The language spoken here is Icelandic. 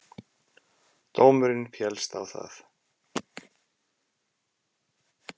Dómurinn féllst á það